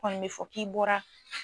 kɔni mɛ fɔ k'i bɔra